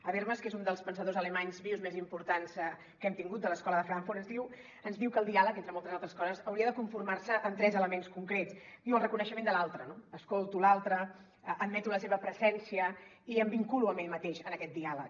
habermas que és un dels pensadors alemanys vius més importants que hem tingut de l’escola de frankfurt ens diu que el diàleg entre moltes altres coses hauria de conformar se amb tres elements concrets el reconeixement de l’altre escolto l’altre admeto la seva presència i em vinculo amb ell mateix en aquest diàleg